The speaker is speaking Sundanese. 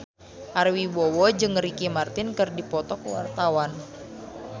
Ari Wibowo jeung Ricky Martin keur dipoto ku wartawan